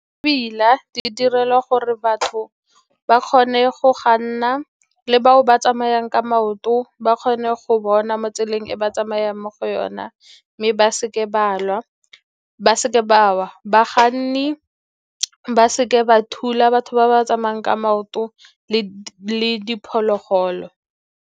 di direlwa gore batho ba kgone go kganna, le bao ba tsamayang ka maoto ba kgone go bona mo tseleng e ba tsamayang mo go yona, mme ba seke ba wa. Bakganni ba se ke ba thula batho ba ba tsamayang ka maoto le diphologolo.